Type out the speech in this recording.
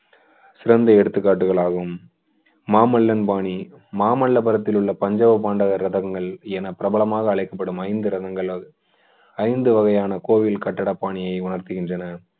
சிறந்த எடுத்துக்காட்டுகள் ஆகும் மாமல்லபுரத்தில் உள்ள பஞ்சவ பாண்டவர் ரதங்கள் என பிரபலமாக அழைக்கப்படும் ஐந்து ரதங்களும் ஐந்து வகையான கோயில் கட்டிடப்பாணியை உணர்த்துகின்றன